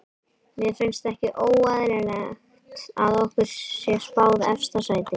Mér finnst ekki óeðlilegt að okkur sé spáð efsta sæti.